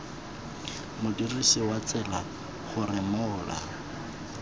modirisi wa tsela gore mola